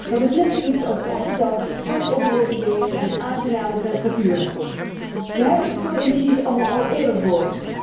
Dat is net zoiets als elke dag zonovergoten weer en aangename temperaturen. Wij hebben dit soort ambities allemaal al eerder gehoord.